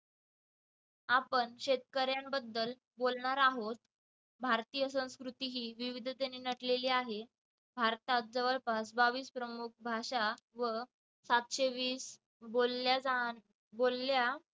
आपण शेतकऱ्यांबद्दल बोलणार आहोत. भारतीय संस्कृती ही विविधतेने नटलेली आहे. भारतात जवळपास बावीस प्रमुख भाषा व सातशे वीस बोलल्या जाणाऱ्या बोलल्या